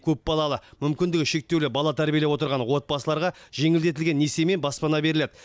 көпбалалы мүмкіндігі шектеулі бала тәрбиелеп отырған отбасыларға жеңілдетілген несиемен баспана беріледі